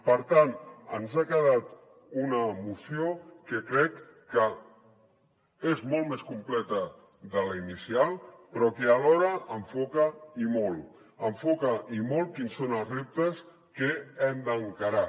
per tant ens ha quedat una moció que crec que és molt més completa de la inicial però que alhora enfoca i molt enfoca i molt quins són els reptes que hem d’encarar